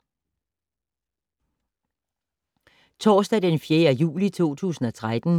Torsdag d. 4. juli 2013